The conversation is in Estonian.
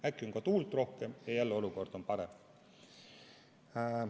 Äkki on ka tuult rohkem ja jälle on olukord parem.